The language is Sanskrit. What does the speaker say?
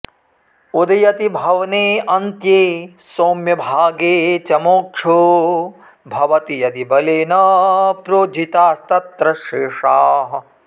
उदयति भवने अन्त्ये सौम्य भागे च मोक्षो भवति यदि बलेन प्रोज्झितास्तत्र शेषाः